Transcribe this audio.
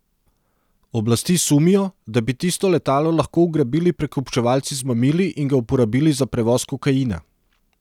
Oblasti sumijo, da bi tisto letalo lahko ugrabili prekupčevalci z mamili in ga uporabili za prevoz kokaina.